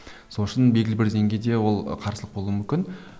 сол үшін белгілі бір деңгейде ол қарсылық болуы мүмкін